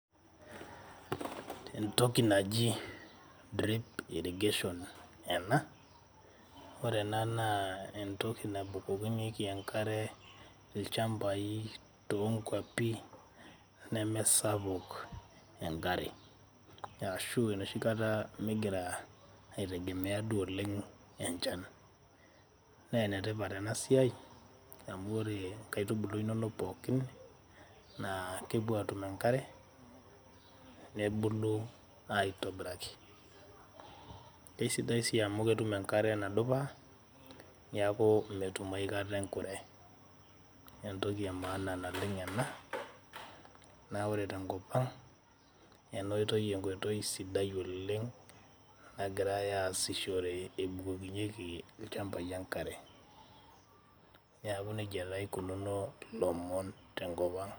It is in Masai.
entoki naji drip irrigation ena, ore enaa naa entoki nabukokinyeki enkare ilchambai too nkuapi nemesapuk enkare, ashu enoshikata nemigira eitengemea duo oleng' enchan. naa enetipat ena siai amu ore inkaitubulu inonok pookin naa kepuo aatum enkare, nebulu aitobiraki. keisidai sii amu ketum enkare nadupa neaku metum aikata enkure. entoki ee maana naleng' ena na ore tenkop ang ena oitoi enkoitoi sidai oleng' nagirae aasishore ebukokinyeki ilchambai enkare, neaku nejia eikununo ilomon tenkop ang'